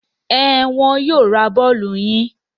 Ẹn, wọn yóò ra bọ́ọ́lù yín.